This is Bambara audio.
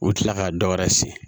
U bɛ tila ka dɔ wɛrɛ sin